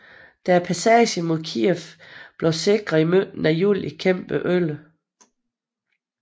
Da passagen mod Kijev var blevet sikret i midten af juli kæmpede 11